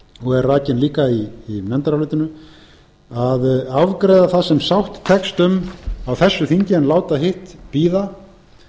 og er rakin líka í nefndarálitinu að afgreiða það sem sátt tekst um á þessu þingi en láta hitt bíða